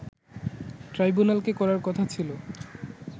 ট্রাইব্যুনালকে করার কথা ছিল